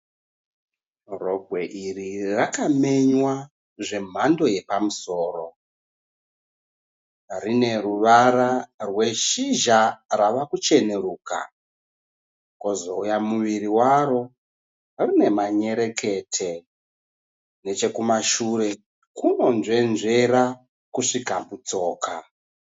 Rogwe iri rakapenywa zvemhando yepamusoro. Rine ruvara rweshizha rwava kucheneruka. Kwozouya muviri waro rine manyerekete. Nechekumashure kunonzvenzvera kusvika kutsoka.